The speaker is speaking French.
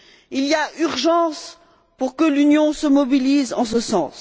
Il y a urgence pour que l'Union se mobilise en ce sens.